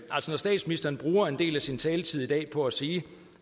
statsministeren bruger en del af sin taletid i dag på at sige